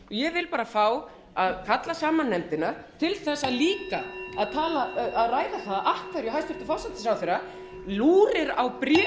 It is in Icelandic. ég vil fá að kalla saman nefndina til þess líka að ræða það af hverju hæstvirtur forsætisráðherra fyrir á bréfi frá forsætisráðherra bretlands í tólf daga